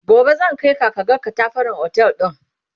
gobe zan Kai ka kaga ƙatafaren otel ɗin